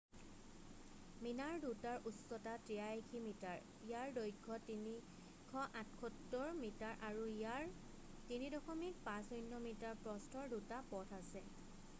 মিনাৰ দুটাৰ উচ্চতা 83 মিটাৰ ইয়াৰ দৈৰ্ঘ্য 378 মিটাৰ আৰু ইয়াৰ 3.50 মিটাৰ প্ৰস্থৰ দুটা পথ আছে